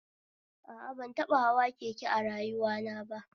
A a, ban taɓa hawa keke a rayuwana ba